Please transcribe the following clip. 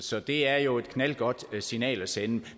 så det er jo et knaldgodt signal at sende